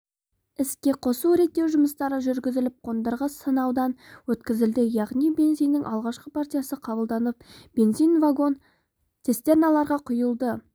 іске қосу-реттеу жұмыстары жүргізіліп қондырғы сынаудан өткізілді яғни бензиннің алғашқы партиясы қабылданып бензин вагон-цистерналарға құйылды